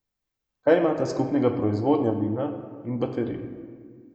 Kaj imata skupnega proizvodnja vina in baterij?